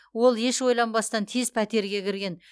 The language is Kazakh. ол еш ойланбастан тез пәтерге кірген